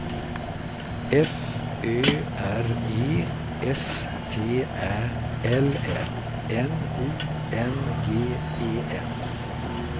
F Ö R E S T Ä L L N I N G E N